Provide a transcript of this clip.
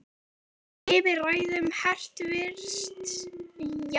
Eða yfir ræðum hæstvirts forsætisráðherra?